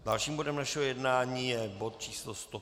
Dalším bodem našeho jednání je bod číslo